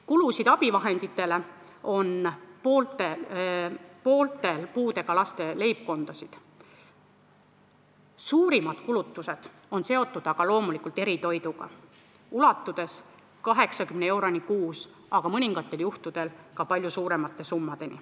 Kulutusi abivahenditele on pooltel puudega laste leibkondadel, suurimad kulutused on seotud aga loomulikult eritoiduga, need ulatuvad 80 euroni kuus, aga mõningatel juhtudel on summad ka palju suuremad.